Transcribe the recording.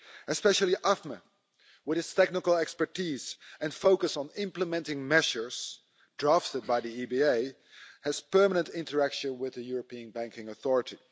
Especially AFME, with its technical expertise and focus on implementing measures drafted by the EBA, has permanent interaction with the European Banking Authority.